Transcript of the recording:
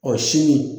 O si min